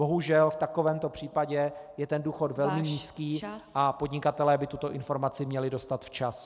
Bohužel v takovémto případě je ten důchod velmi nízký a podnikatelé by tuto informaci měli dostat včas.